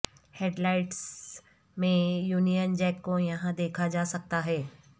head lights میں Union Jack کو یہاں دیکھا جا سکتا ہے